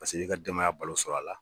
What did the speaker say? Paseke i ka denmaya balo sɔrɔ a la.